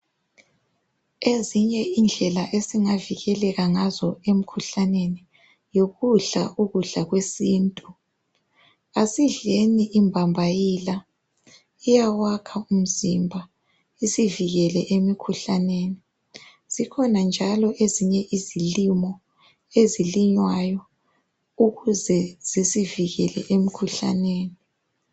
ezinye indlela esingavikeleka ngazo emkhuhlaneni yikudla ukudla kwesintu asidleni imbambayila iyawakha umzimba isivikele emkhuhkaneni zikhona njalo ezinye izilimo ezilinywayo ukuze zisivikele emkhuhlaneni